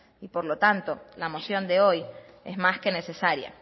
y por lo tanto la moción de hoy es más que necesaria